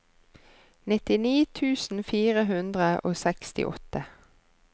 nittini tusen fire hundre og sekstiåtte